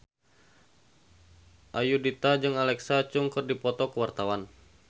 Ayudhita jeung Alexa Chung keur dipoto ku wartawan